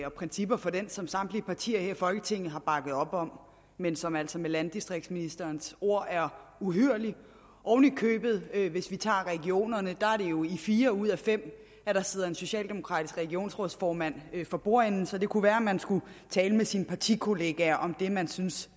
og principper for den som samtlige partier her i folketinget har bakket op om men som altså med landdistriktsministerens ord er uhyrlig oven i købet hvis vi tager regionerne er det jo i fire ud af fem at der sidder en socialdemokratisk regionsrådsformand for bordenden så det kunne være at man skulle tale med sine partikolleger om det man synes